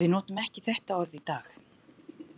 Við notum ekki þetta orð í dag.